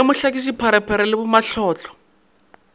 ya mohlakiši pharephare le bamatlotlo